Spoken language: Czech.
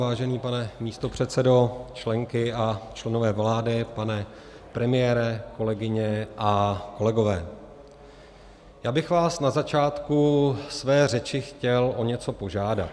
Vážený pane místopředsedo, členky a členové vlády, pane premiére, kolegyně a kolegové, já bych vás na začátku své řeči chtěl o něco požádat.